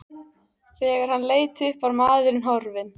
Þegar hann leit upp var maðurinn horfinn.